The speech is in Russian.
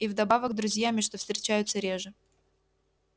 и вдобавок друзьями что встречается реже